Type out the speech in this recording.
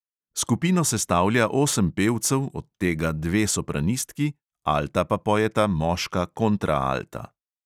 Skupino sestavlja osem pevcev, od tega dve sopranistki, alta pa pojeta moška kontraalta.